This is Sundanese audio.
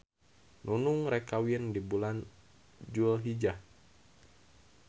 Nunung rek kawin di bulan dulhijjah